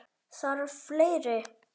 Þarf fleiri?